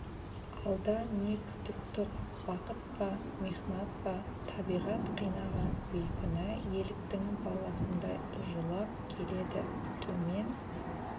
алда не күтіп тұр бақыт па михнат па табиғат қинаған бейкүнә еліктің баласындай жылап келеді төмен